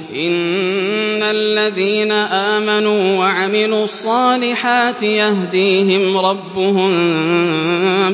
إِنَّ الَّذِينَ آمَنُوا وَعَمِلُوا الصَّالِحَاتِ يَهْدِيهِمْ رَبُّهُم